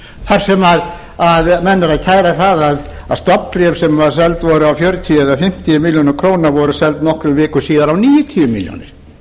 þar sem menn eru að kæra að stofnbréf sem seld voru á fjörutíu eða fimmtíu milli krónur voru seld nokkrum vikum síðar á átta hundruð níutíu milljónir